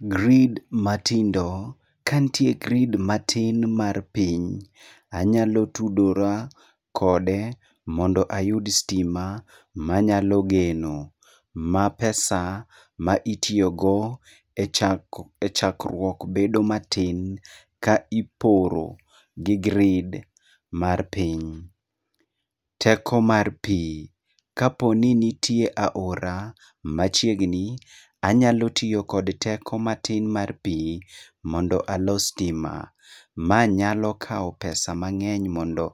Grid matindo, kantie grid matin mar piny, anyalo tudora kode mondo ayud stima manyalo geno, ma pesa maitiogo e chak e chakrwuok bedo matin ka iporo gi grid mar piny. Teko mar pii, ka poni nitie aora machiegni, anyalo tio kod teko matin mar pii mondo alos stima. Ma nyalo kao pesa mang'eny mondo